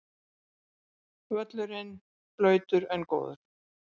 Völlurinn blautur en góður